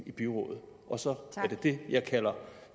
i byrådet så er det det jeg kalder